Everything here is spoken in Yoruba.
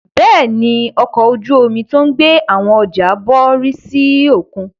Bẹ́ẹ̀ ni, ọkọ̀ ojú-omi tó ń gbé àwọn ọjà bọ̀ rì sí òkun.